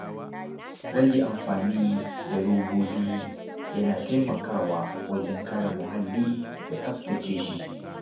Rage amfani da robobi yana taimakawa wajen kare muhalli da tsaftace shi.